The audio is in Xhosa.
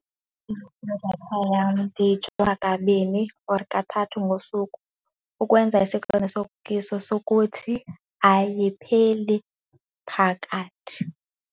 Idatha yam ndiyijonga kabini or kathathu ngosuku, ukwenza isiqinisekiso sokuthi ayipheli phakathi.